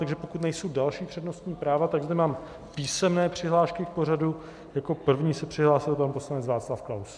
Takže pokud nejsou další přednostní práva, tak zde mám písemné přihlášky v pořadí - jako první se přihlásil pan poslanec Václav Klaus.